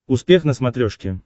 успех на смотрешке